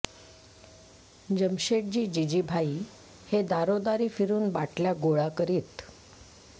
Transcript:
जमशेटजी जिजीभाई हे दारोदारी फिरून बाटल्या गोळा करीत